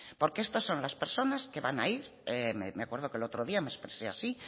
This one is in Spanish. porque esto son las personas que van a ir me acuerdo que el otro día me expresé así